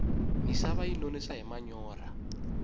misava yi nonisa hi manyorha